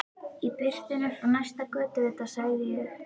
Í birtunni frá næsta götuvita sagði ég